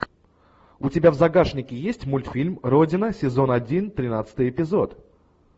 у тебя в загашнике есть мультфильм родина сезон один тринадцатый эпизод